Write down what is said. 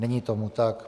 Není tomu tak.